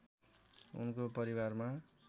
उनको परिवारमा